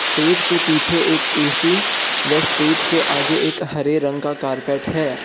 तेज के पीछे एक ऐ_सी वह स्टेज के आगे एक हरे रंग का कारपेट है।